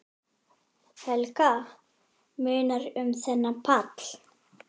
Helga: Munar um þennan pall?